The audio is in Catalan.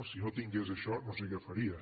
si no tingués això no sé què faria